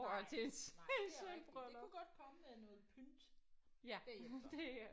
Nej nej det er rigtigt det kunne godt komme med noget pynt bagefter